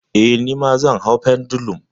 Eh, nima zan hau pendulum.